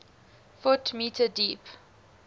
ft m deep